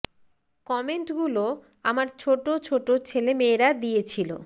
comment গুলো আমার ছোটো ছোটো ছেলে মেয়েরা দিয়ে ছিল